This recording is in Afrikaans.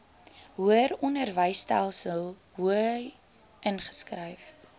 hoëronderwysinstelling hoi ingeskryf